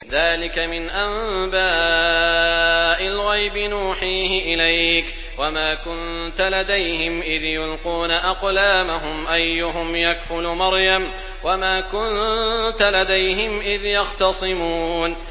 ذَٰلِكَ مِنْ أَنبَاءِ الْغَيْبِ نُوحِيهِ إِلَيْكَ ۚ وَمَا كُنتَ لَدَيْهِمْ إِذْ يُلْقُونَ أَقْلَامَهُمْ أَيُّهُمْ يَكْفُلُ مَرْيَمَ وَمَا كُنتَ لَدَيْهِمْ إِذْ يَخْتَصِمُونَ